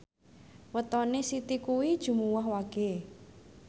wetone Siti kuwi Jumuwah Wage